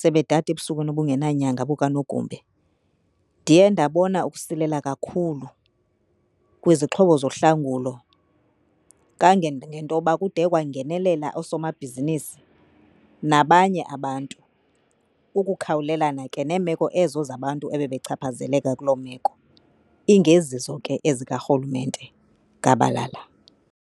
sebedada ebusukwini obungenanyanga bukanogumbe. Ndiye ndabona ukusilela kakhulu kwizixhobo zohlangulo kangangentoba kude kwangenelela oosomabhizinisi nabanye abantu. Ukukhawulelana ke neemeko ezo zabantu ebebechaphazeleka kuloo meko ingezizo ke ezikarhulumente gabalala.